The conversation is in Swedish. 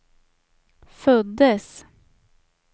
föddes